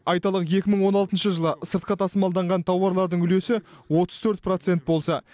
айталық екі мың он алтыншы жылы сыртқа тасымалданған тауарлардың үлесі отыз төрт процент болса